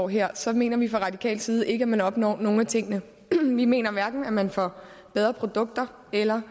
her så mener vi fra radikal side ikke at man opnår nogen af tingene vi mener hverken at man får bedre produkter eller